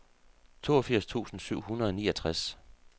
toogfirs tusind syv hundrede og niogtres